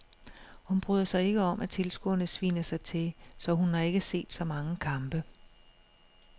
Hun bryder sig ikke om at tilskuerne sviner mig til, så hun har ikke set så mange kampe.